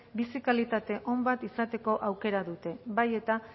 bizi kalitate on bat izateko aukera dute bai eta